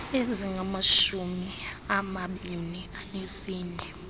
ezingamashumi amabini anesine